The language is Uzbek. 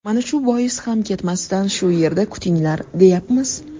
Mana shu bois ham ketmasdan shu yerda kutinglar, deyapmiz.